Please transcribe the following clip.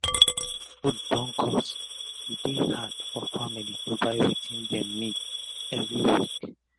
as fud don cost e dey hard for family to buy wetin dem nid everi week